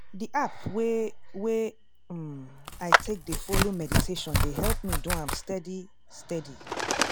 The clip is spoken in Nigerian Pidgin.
di app wey wey um i take dey follow meditation dey help me do am steady steady.